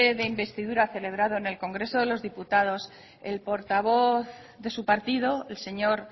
de investidura celebrado en el congreso de los diputados el portavoz de su partido el señor